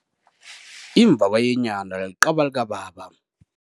Imvabayenyana yiqaba likababa.